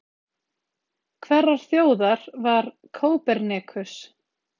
Hverrar þjóðar var Kópernikus?